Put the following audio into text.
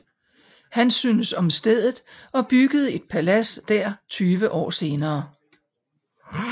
Han syntes om stedet og byggede et palads der tyve år senere